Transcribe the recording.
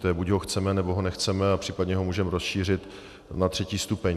To je buď ho chceme, nebo ho nechceme, a případně ho můžeme rozšířit na třetí stupeň.